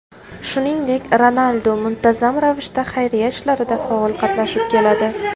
Shuningdek, Ronaldu muntazam ravishda xayriya ishlarida faol qatnashib keladi.